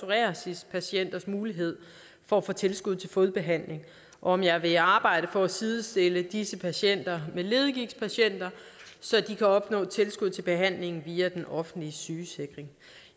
psoriasispatienters mulighed for at få tilskud til fodbehandling og om jeg vil arbejde på at sidestille disse patienter med leddegigtpatienter så de kan opnå tilskud til behandling via den offentlige sygesikring